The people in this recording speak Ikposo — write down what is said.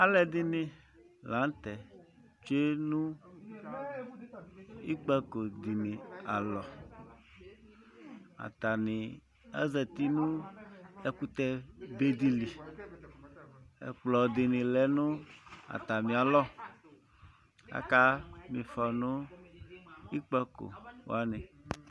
Alʋɛdɩnɩ la nʋ tɛ tsue nʋ ikpǝko dɩnɩ alɔ Atanɩ azati nʋ ɛkʋtɛbe dɩ li Ɛkplɔ dɩnɩ lɛ nʋ atamɩalɔ Akama ɩfɔ nʋ ikpǝko wanɩ